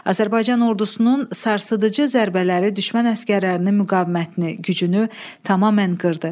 Azərbaycan ordusunun sarsıdıcı zərbələri düşmən əsgərlərinin müqavimətini, gücünü tamamən qırdı.